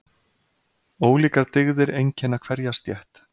Ólíkar dygðir einkenna hverja stétt.